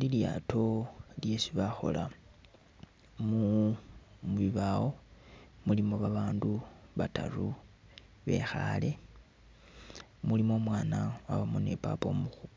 Lilyaato lyesi bakhola mubibawo mulimo babandu bataru bekhale, mulimo umwaana, mwabamo